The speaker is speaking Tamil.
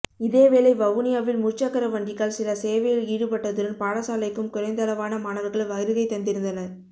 இதேவேளை வவுனியாவில் முற்சக்கரவண்டிகள் சில சேவையில் ஈடுபட்டதுடன் பாடசாலைக்கும் குறைந்தளவான மாணவர்கள் வருகைதந்திருந்தனர்